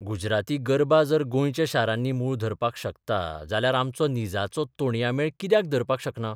गुजराती गर्बां जर गोंयच्या शारांनी मूळ धरपाक शकता जाल्यार आमचो निजाचो तोणयां मेळ कित्याक धरपाक शकना?